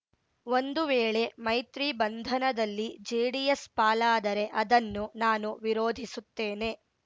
ಒಂದು ವೇಳೆ ಮೈತ್ರಿ ಬಂಧನದಲ್ಲಿ ಜೆಡಿಎಸ್ ಪಾಲಾದರೆ ಅದನ್ನು ನಾನು ವಿರೋಧಿಸುತ್ತೇನೆ